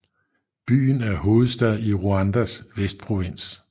Byen er hovedstad i Rwandas Vestprovins